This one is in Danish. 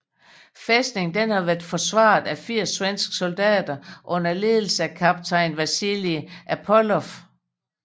Fæstningen havde været forsvaret af 80 svenske soldater under ledelse af kaptajn Wasili Apolloff